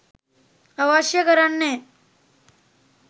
අවශ්‍ය කරන්නේ